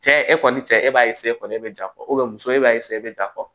Cɛ e kɔni cɛ e b'a e bɛ ja fɔ muso e b'a e bɛ ja fɔ